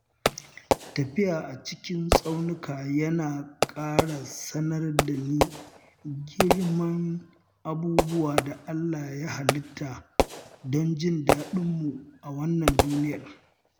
Tafiya a cikin tsaunuka yana ƙara sanar dani girman abubuwan da Allah Ya halitta don jin daɗinmu a wannan duniyar.